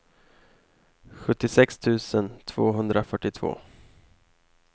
sjuttiosex tusen tvåhundrafyrtiotvå